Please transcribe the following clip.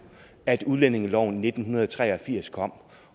at udlændingeloven i nitten tre og firs kom